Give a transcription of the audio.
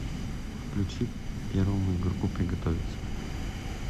включи первому игроку приготовиться